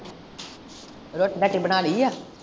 ਰੋਟੀ ਰਾਟੀ ਬਣਾ ਲਯੀ ਆ?